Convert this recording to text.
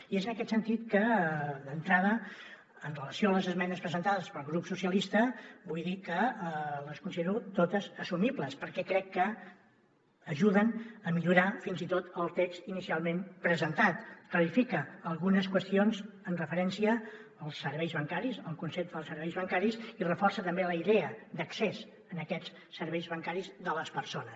i és en aquest sentit que d’entrada amb relació a les esmenes presentades pel grup socialistes vull dir que les considero totes assumibles perquè crec que ajuden a millorar fins i tot el text inicialment presentat clarifica algunes qüestions amb referència als serveis bancaris al concepte dels serveis bancaris i reforça també la idea d’accés a aquests serveis bancaris de les persones